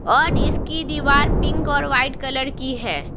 और इसकी दीवार पिंक और वाइट कलर की है।